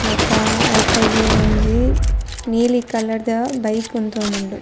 ಬೊಕ ಐತ ಎದುರೊಂಜಿ ನೀಲಿ ಕಲರ್ದ ಬೈಕ್ ಉಂತೋಂದುಂಡು.